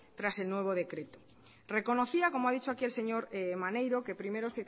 tras el nuevo decreto reconocía como ha dicho aquí el señor maneiro que primero